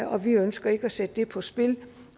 og vi ønsker ikke at sætte det på spil